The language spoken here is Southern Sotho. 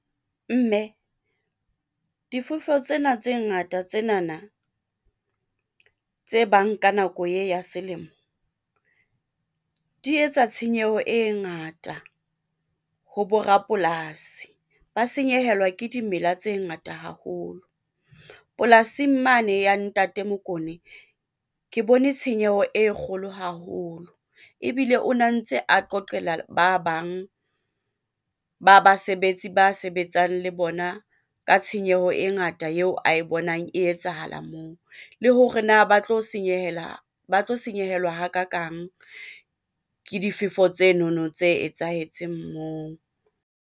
Mme difefo tsena tse ngata, tsenana tse bang ka nako e ya selemo di etsa tshenyeho e ngata ho bo rapolasi ba senyehelwa ke dimela tse ngata haholo. Polasing mane ya Ntate Mokone ke bone tshenyeho e kgolo haholo ebile o na ntse a qoqela ba bang ba basebetsi ba sebetsang le bona ka tshenyeho e ngata Yeo ae bonang e etsahala moo le hore na ba tlo , ba tlo senyehelwa hakakang ke difefo tsenono tse etsahetseng moo.